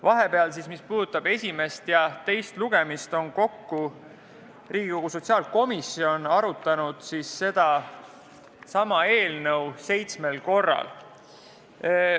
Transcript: Vahepeal, pärast esimest ja enne teist lugemist, on Riigikogu sotsiaalkomisjon arutanud seda eelnõu seitsmel korral.